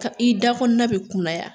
Ka i da bɛ kunya